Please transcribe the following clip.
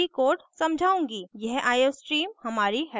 यह iostream हमारी header file है